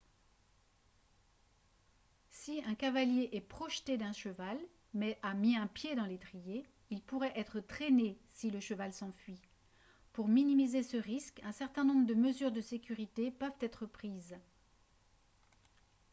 si un cavalier est projeté d'un cheval mais a un pied pris dans l'étrier il pourrait être traîné si le cheval s'enfuit pour minimiser ce risque un certain nombre de mesures de sécurité peuvent être prises